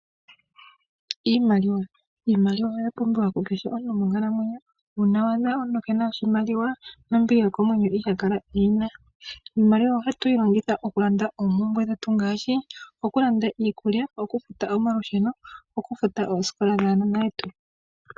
Iimaliwa. Iimaliwa oya pumbiwa ku kehe omuntu monkalamwenyo. Nongele owa adha omuntu keena oshimaliwa, nombili yokomwenyo iha kala eyi na. Iimaliwa ohatu yi longitha oku landa oompumbwe dhetu ngaashi oku landa iikulya, oku futa omalusheno noku futa oosikola dhaanona yetu.